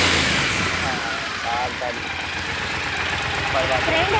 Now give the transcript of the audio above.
હા બાર તારીખ ફરવા જવું